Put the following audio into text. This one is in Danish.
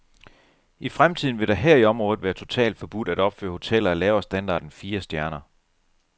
I fremtiden vil det her i området være totalt forbudt at opføre hoteller af lavere standard end fire stjerner.